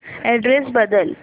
address बदल